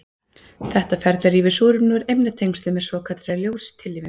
Þetta ferli rýfur súrefni úr efnatengslum með svokallaðri ljóstillífun.